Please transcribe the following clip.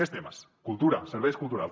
més temes cultura serveis culturals